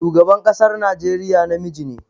Shugaban ƙasar Najeriya namiji ne